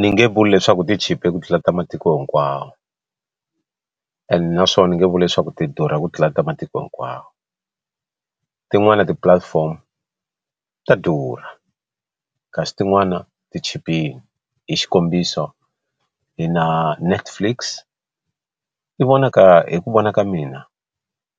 Ni nge vuli leswaku ti chipile ku tlula ta matiko hinkwawo and naswona ni nge vuli leswaku ti durha ku tlula ta matiko hinkwawo tin'wani ti platform ta durha kasi tin'wani ti chipile hi xikombiso hi na Netflix yi vonaka hi ku vona ka mina